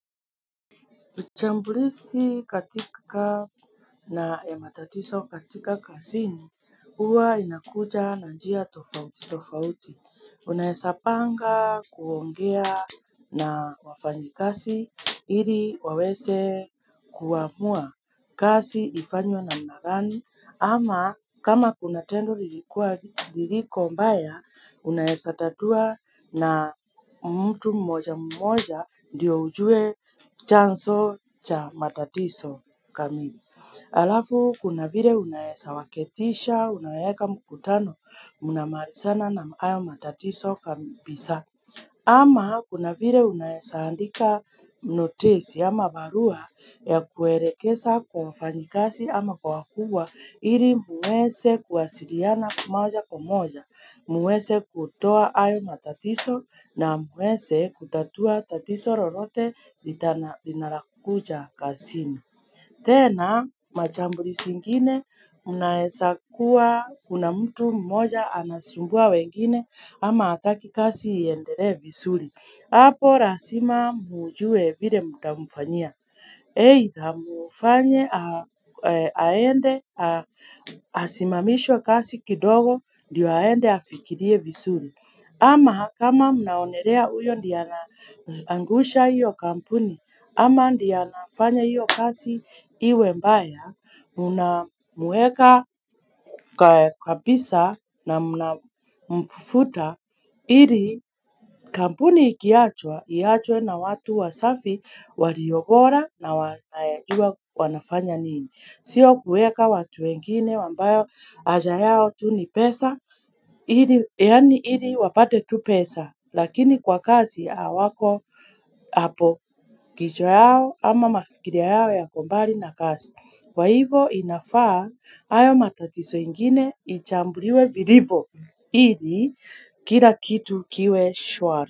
Uchambulisi katika na ya matatiso katika kazini, uwa inakuja na njia tofauti, tofauti. Unaesa panga kuongea na wafanyi kasi, ili waweze kuamua kasi ifanywe namna gani. Ama kama kuna tendo liliko mbaya, unaesa tatua na mtu mmoja mmoja ndiyo ujue chanso cha matatiso kamili. Alafu, kuna vire unaesa waketisha, unaweka mkutano, mnamarisana na hayo matatiso kapisa. Ama kuna vire unaesa andika notisi ama barua ya kuerekesa kwa mfanyikasi ama kwa wakubwa ili mwese kuasiriana kwa moja kwa moja. Mwese kutoa hayo matatiso na mwese kutatua tatiso lolote linalokuja kasini. Tena machambulisi ngine munaesa kuwa kuna mtu mmoja anasumbua wengine ama ataki kasi iendele visuri. Apo rasima mujue vile mutamufanyia. Eitha mufanye aende asimamishwe kasi kidogo ndioaende afikirie visuri. Ama kama mnaonerea uyo ndiye ana angusha iyo kampuni, ama ndiye ana fanya iyo kasi iwe mbaya, mna muweka kwa pisa na mnafuta, ili kampuni ikiachwa, iachwe na watu wasafi, waliobora na wanafanya nini. Sio kuweka watu wengine wambao aja yao tu ni pesa Yani hili wapate tu pesa Lakini kwa kazi awako Apo kichwa yao ama mafikirio yao yako mbali na kazi Kwa hivo inafaa hayo matatizo ingine ichambuliwe vilivyo ili kila kitu kiwe shwari.